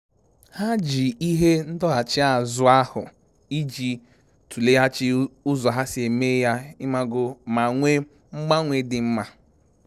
Ha ji ihe ndọghachi azụ ahụ iji tụleghachi ụzọ ha si eme ya ma nwee mgbanwe dị mma